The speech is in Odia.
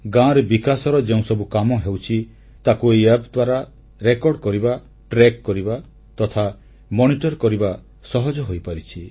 ଗାଁରେ ବିକାଶର ଯେଉଁସବୁ କାମ ହେଉଛି ତାକୁ ଏହି ଆପ୍ ଦ୍ୱାରା ରେକର୍ଡ କରିବା ଟ୍ରାକ କରିବା ତଥା ମନିଟର କରିବା ସହଜ ହୋଇପାରିଛି